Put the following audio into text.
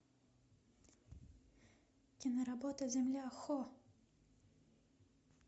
киноработа земля хо